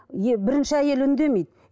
е бірінші әйелі үндемейді